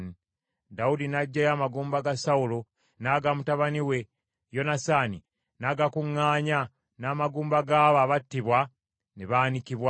Dawudi n’aggyayo amagumba ga Sawulo n’aga mutabani we Yonasaani, n’agakuŋŋaanya n’amagumba g’abo abattibwa ne baanikibwa.